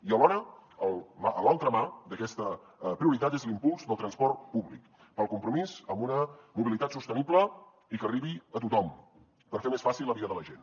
i alhora l’altra mà d’aquesta prioritat és l’impuls del transport públic pel compromís amb una mobilitat sostenible i que arribi a tothom per fer més fàcil la vida de la gent